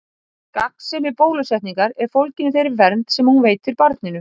Gagnsemi bólusetningar er fólgin í þeirri vernd sem hún veitir barninu.